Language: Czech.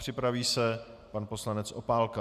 Připraví se pan poslanec Opálka.